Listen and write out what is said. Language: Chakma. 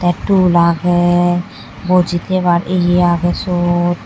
te tul age bojitebar ye age sot.